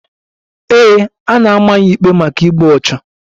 Ee, a na-ama ya ikpe maka igbu ọchụ.